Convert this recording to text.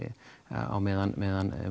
á meðan meðan